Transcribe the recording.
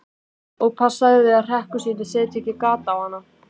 Og passaðu þig að hrekkjusvínin setji ekki gat á hana.